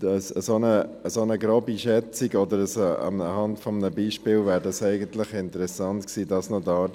Aber eine grobe Schätzung oder eine Darstellung anhand eines Beispiels wäre interessant gewesen.